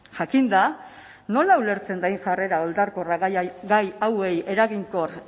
jakinda nola ulertzen den jarrera oldarkorra gai hauei eraginkor